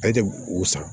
Ale tɛ o san